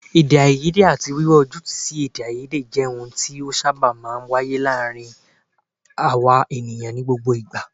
Èdèàìyedè àti wíwá ojútùú sí èdèàìyedè jẹ́ ohun tí ó sábà máa ń wáyé láàárín àwa ènìyàn ní gbogbo ìgbà